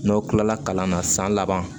N'aw kila la kalan na san laban